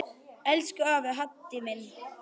Elsku afi Haddi minn.